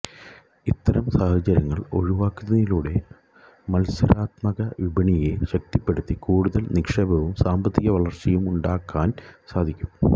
ഇത്തരം സാഹചര്യങ്ങള് ഒഴിവാക്കുന്നതിലൂടെ മത്സരാത്മക വിപണിയെ ശക്തിപ്പെടുത്തി കൂടുതല് നിക്ഷേപവും സാമ്പത്തിക വളര്ച്ചയുമുണ്ടാക്കാന് സാധിക്കും